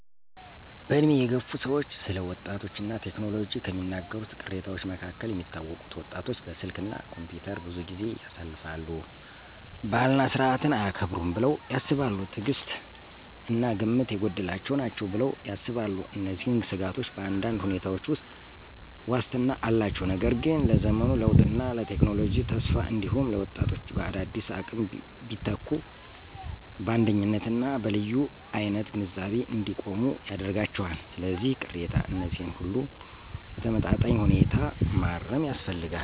በዕድሜ የገፉ ሰዎች ስለ ወጣቶች እና ቴክኖሎጂ ከሚናገሩት ቅሬታዎች መካከል የሚታወቁት: ወጣቶች በስልክ እና ኮምፒውተር ብዙ ጊዜ ያሳልፋሉ። ባህልና ሥርዓትን አያከብሩም ብለው ያስባሉ። ትዕግሥት እና ግምት የጎደላቸው ናቸው ብለው ያስባሉ። እነዚህን ስጋቶች በአንዳንድ ሁኔታዎች ውስጥ ዋስትና አላቸው፣ ነገር ግን ለዘመኑ ለውጥና ለቴክኖሎጂ ተስፋ እንዲሁም ለወጣቶች በአዳዲስ አቅም ቢተኩ በአንደኝነት እና በልዩ አይነት ግንዛቤ እንዲቆሙ ያደርጋቸዋል። ስለዚህ፣ ቅሬታ እነዚህን ሁሉ በተመጣጣኝ ሁኔታ ማረም ያስፈልጋል።